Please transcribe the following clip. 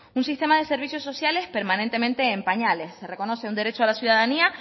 un sistema de servicios sociales permanentemente en pañales se reconoce un derecho a la ciudadanía